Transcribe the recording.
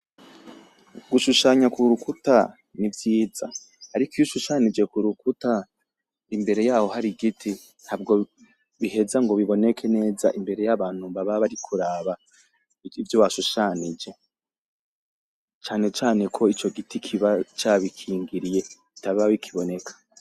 Gushushanya k'urukuta ni vyiza ariko iyo ushushanyije k'urukuta imbere yaho hari igiti ntabwo biheza ngo biboneke neza y'abantu baba bari kuraba ivyo washushanyije cane cane ko ico giti kiba ca bikingiriye bitaba bikiboneka.